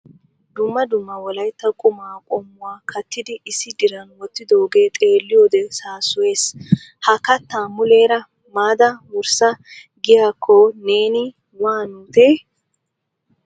Dumma dumma wolaytta qumma qommuwa kattidi issi diran wottidooge xeeliyoode saassoyees. Ha katta muleera maada wurssa giyaakko neeni wanutii ?